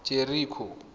jeriko